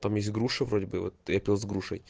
там есть груша вроде бы я пил с грушей